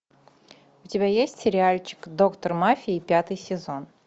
у тебя есть сериальчик доктор мафии пятый сезон